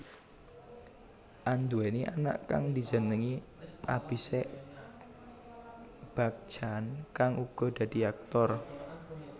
Anduwèni anak kang dijenengi Abhishek Bachchan kang uga dadi aktor